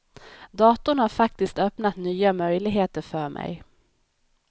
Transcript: Datorn har faktiskt öppnat nya möjligheter för mig.